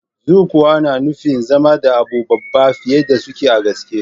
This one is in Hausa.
Zukowa na na nufin zama da abun babba fiyar da suke a gaske.